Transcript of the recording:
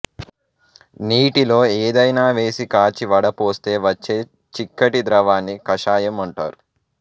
నీటిలో ఏదైనా వేసి కాచి వడపోస్తే వచ్చే చిక్కటి ద్రవాన్ని కషాయం అంటారు